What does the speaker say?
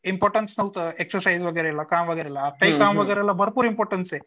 Importance नव्हतं exercise वगैरेला काम वगैरेला. काम वगैरेला भरपूर इम्पॉर्टन्स आहे